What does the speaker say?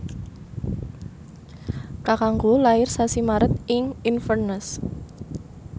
kakangku lair sasi Maret ing Inverness